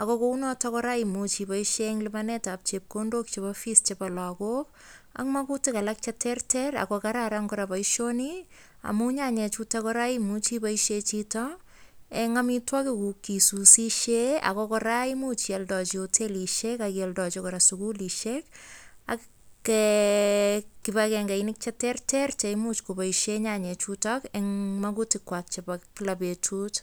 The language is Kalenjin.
akokounoton imuche ibaishen lubanet ab chepkondok chebo fees chebo lagok ak makutik alak cheterter ako kararan koraa baishoni en amu nyanyek chuton koraa imuche ibaishen Chito en amitagik gu Chito isusishe koraa imuche iyaldai en hotelishek AK sugulishek AK kibagenge cheterter cheimuche kebaishen nyanyek chuton en makutik kwak chebo kila bebtut